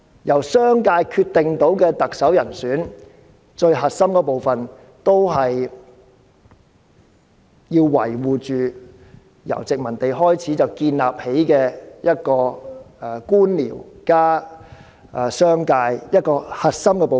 由商界決定特首人選最核心的部分，就是要維護自殖民地時代建立的官僚加商界的核心部分。